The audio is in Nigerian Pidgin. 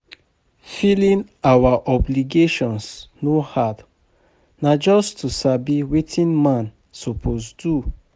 Filing our obligations no hard, na just to sabi wetin man suppose do.